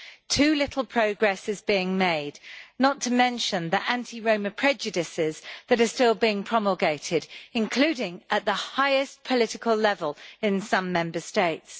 Too little progress is being made, not to mention the anti Roma prejudices that are still being promulgated, including at the highest political level in some Member States.